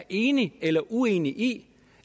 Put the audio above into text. enig eller uenig i